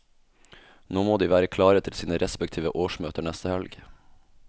Nå må de være klare til sine respektive årsmøter neste helg.